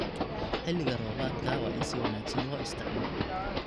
Xilliga roobaadka waa in si wanaagsan loo isticmaalo.